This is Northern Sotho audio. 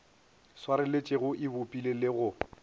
swareletšego e bopile le go